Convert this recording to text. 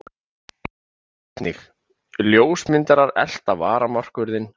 Sjá einnig: Ljósmyndarar elta varamarkvörðinn á röndum